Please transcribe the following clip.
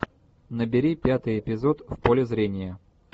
набери пятый эпизод в поле зрения